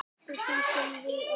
eftir því sem við á.